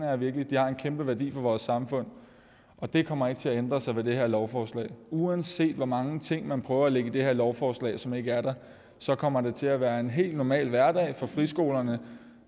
jeg virkelig de har en kæmpe værdi for vores samfund og det kommer ikke til at ændre sig med det her lovforslag uanset hvor mange ting man prøver at lægge i det her lovforslag som ikke er der så kommer det til at være en helt normal hverdag for friskolerne